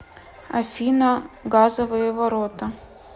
афина газовые ворота